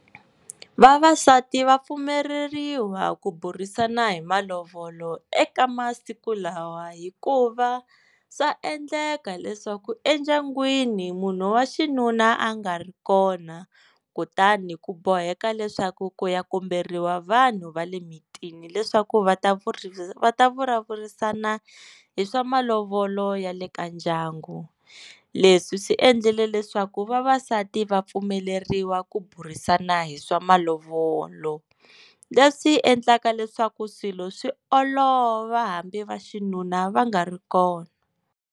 Vavasati va pfumeleriwa ku burisana hi malovolo eka masiku lawa hikuva swa endleka leswaku endyangwini munhu wa xinuna a nga ri kona kutani ku boheka leswaku ku ya komberiwa vanhu va le mitini leswaku va ta vurimi va ta vulavurisana hi swa malovolo ya le ka ndyangu leswi swi endlele leswaku vavasati va pfumeleriwa ku burisana hi swa malovolo, leswi endlaka leswaku swilo swi olova hambi va xinuna va nga ri kona.